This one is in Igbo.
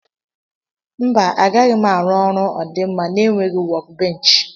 Mba agaghim arụ ọrụ ọdima na enweghi wọk benchi.